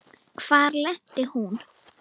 Hvar lenti hún?